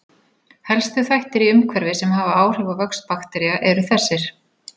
Helstu þættir í umhverfi sem hafa áhrif á vöxt baktería eru þessir